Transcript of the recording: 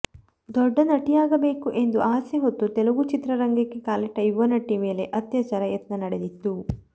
ದೊಡ್ಡ ನಟಿಯಾಗಬೇಕು ಎಂದು ಆಸೆ ಹೊತ್ತು ತೆಲುಗು ಚಿತ್ರರಂಗಕ್ಕೆ ಕಾಲಿಟ್ಟ ಯುವ ನಟಿ ಮೇಲೆ ಅತ್ಯಾಚಾರ ಯತ್ನ ನಡೆದಿತ್ತು